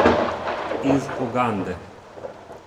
Iz Ugande.